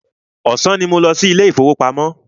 Ọ̀sán ní mò ń lọ sí ilé ìfọwọ́pamo.